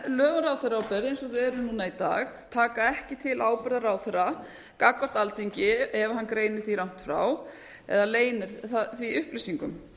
eru núna í dag taka ekki til ábyrgðar ráðherra gagnvart alþingi ef hann greinir því rangt frá eða leynir því upplýsingum